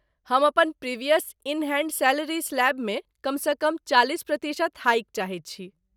हम अपन previous in hand salary स्लैबमे कमसँ कम चालिस प्रतिशत हाइक चाहैत छी।